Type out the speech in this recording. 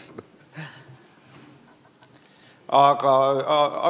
Ma ei tea, kas ma tohin seda.